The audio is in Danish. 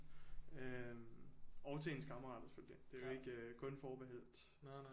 Øh og til ens kammerater selvfølgelig det er jo ikke kun forbeholdt